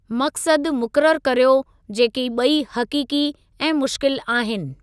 मक़सदु मुक़ररु कर्यो जेकी ॿई हक़ीक़ी ऐं मुश्किल आहिनि।